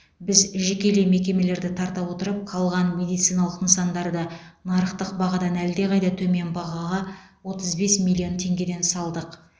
біз жекелей мекемелерді тарта отырып қалған медициналық нысандарды нарықтық бағадан әлде қайда төмен бағаға отыз бес миллион теңгеден салдық